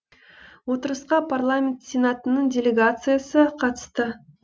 отырысқа парламент сенатының делегациясы қатысты